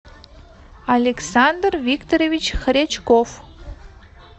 александр викторович хрячков